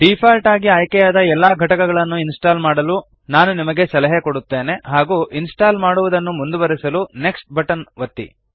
default ಆಗಿ ಆಯ್ಕೆ ಆದ ಎಲ್ಲ ಘಟಕಗಳನ್ನು ಇನ್ಸ್ಟಾಲ್ ಮಾಡಲು ನಾನು ನಿಮಗೆ ಸಲಹೆ ಕೊಡುತ್ತೇನೆ ಹಾಗೂ ಇನ್ಸ್ಟಾಲ್ ಮಾಡುವದನ್ನು ಮುಂದುವರೆಸಲು ನೆಕ್ಸ್ಟ್ ಬಟನ್ ಒತ್ತಿ